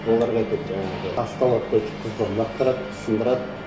оларға айтады жаңағы тасты алады лақтырады сындырады